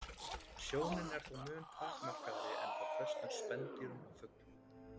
Sjónin er þó mun takmarkaðri en hjá flestum spendýrum og fuglum.